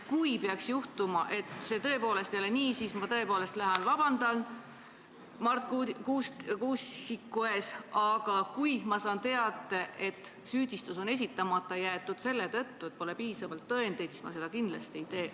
Kui peaks selguma, et see kõik ei olnud nii, siis ma tõepoolest lähen vabandan Marti Kuusiku ees, aga kui ma saan teada, et süüdistus on esitamata jäetud selle tõttu, et pole piisavalt tõendeid, siis ma seda kindlasti ei tee.